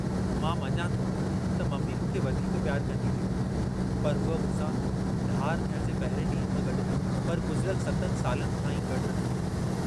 मां मञां थो त मम्मी मूंखे वधीक पियारु कन्दी हुई, पर हुअ मूंसां धार थियण जे पहिरिएं डींहं खां गड्डु न हुई, पर गुजिरयल सतनि सालनि खां ई गड्डु रहंदी हुई।